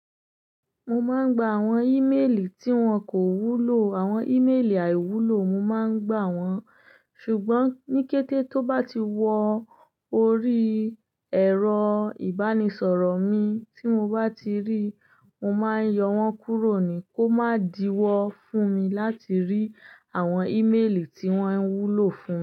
Mo máa ń gba àwọn íméèlì tí wọ́n kò wúlò. Àwọn íméèlì àìwúlò, mo máa ń gbà wọ́n. Ṣùgbọ́n ní kété tó bá ti wọ orí ẹ̀rọ ìbánisọ̀rọ̀ mi tí mo bá ti rí, mo máa yọ wọ́n kúrò ni kó má di wọ́ fún mi láti rí àwọn íméèlì tí wọ́n ń wúlò fún.